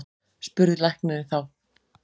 spurði læknirinn þá.